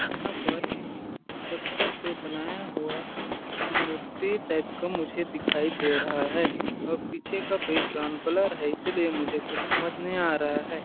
यहाँ पर एक पत्थर से बनाया हुआ मूर्ति टाइप का मुझे दिखाई दे रहा है और पीछे का बैकग्राउंड ब्लर है इसलिए मुझे कुछ समझ नहीं आ रहा है।